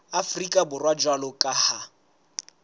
afrika borwa jwalo ka ha